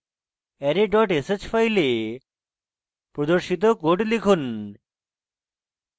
array dot sh file প্রদর্শিত code লিখুন